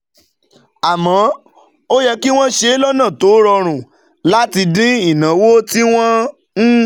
Àmọ́, ó yẹ kí wọ́n ṣe é lọ́nà tó rọrùn láti dín ìnáwó tí wọ́n ń